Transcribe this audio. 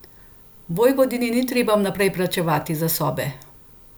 Vojvodinji ni treba vnaprej plačevati za sobe.